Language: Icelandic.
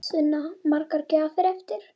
Sunna: Margar gjafir eftir?